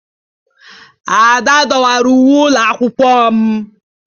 Ada dọwara uwe ụlọ akwụkwọ m